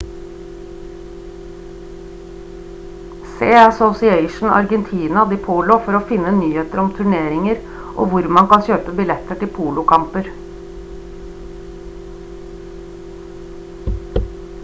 se asosiacion argentina de polo for å finne nyheter om turneringer og hvor man kan kjøpe billetter til polokamper